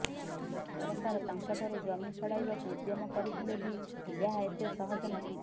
ସରକାର ତାଙ୍କଠାରୁ ଜମି ଛଡ଼ାଇବାକୁ ଉଦ୍ୟମ କରିଥିଲେ ବି ଏହା ଏତେ ସହଜ ନଥିଲା